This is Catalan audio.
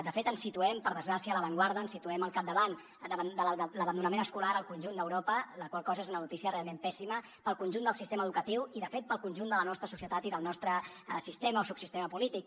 de fet ens situem per desgràcia a l’avantguarda ens situem al capdavant de l’abandonament escolar al conjunt d’europa la qual cosa és una notícia realment pèssima per al conjunt del sistema educatiu i de fet per al conjunt de la nostra societat i del nostre sistema o subsistema polític